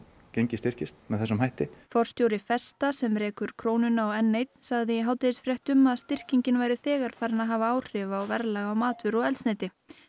gengið styrkist með þessum hætti forstjóri festa sem rekur Krónuna og n eins sagði í hádegisfréttum að styrkingin væri þegar farin að hafa áhrif á verðlag á matvöru og eldsneyti